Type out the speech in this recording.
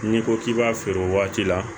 N'i ko k'i b'a feere o waati la